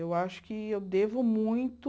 Eu acho que eu devo muito...